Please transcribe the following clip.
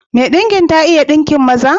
Mai ɗinkin ta iya ɗinkin maza?